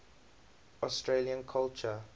australian culture